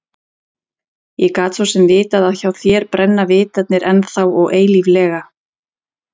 Ég gat svo sem vitað að hjá þér brenna vitarnir ennþá og eilíflega